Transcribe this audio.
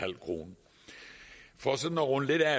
kroner for sådan at runde lidt af